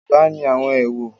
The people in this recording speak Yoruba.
Yoruba ni àwọn èwò.